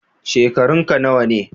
Shekarunka nawa ne?